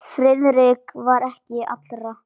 Friðrik var ekki allra.